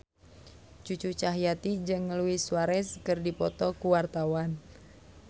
Cucu Cahyati jeung Luis Suarez keur dipoto ku wartawan